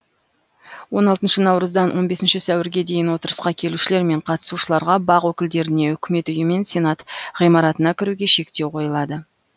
он алтыншы наурыздан он бесінші сәуірге дейін отырысқа келушілер мен қатысушыларға бақ өкілдеріне үкімет үйі мен сенат ғимаратына кіруге шектеу қойылады